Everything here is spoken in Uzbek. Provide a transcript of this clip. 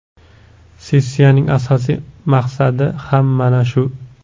Sessiyaning asosiy maqsadi ham mana shu.